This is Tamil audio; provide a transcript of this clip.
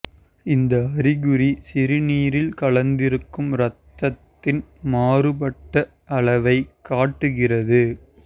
இந்த அறிகுறி சிறுநீரில் கலந்திருக்கும் இரத்தத்தின் மாறுபட்ட அளவைக் காட்டுகிறது